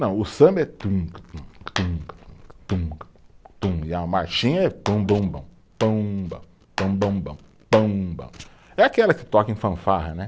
Não, o samba é tum, tum, tum, tum, tum, tum, e a marchinha é pum, bum, bum, pum, bum, pum, bum, bum, pum, bum, é aquela que toca em fanfarra, né?